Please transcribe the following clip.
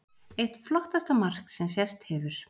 Eitt flottasta mark sem sést hefur.